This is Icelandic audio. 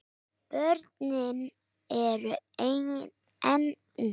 Börnin eru enn ung.